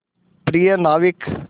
प्रिय नाविक